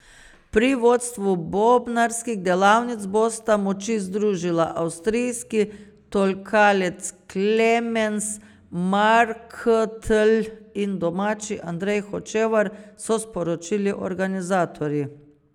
Pri vodstvu bobnarskih delavnic bosta moči združila avstrijski tolkalec Klemens Marktl in domačin Andrej Hočevar, so sporočili organizatorji.